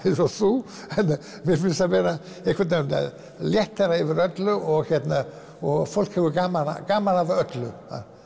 eins og þú mér finnst einhvern veginn léttara yfir öllu og og fólk hefur gaman gaman af öllu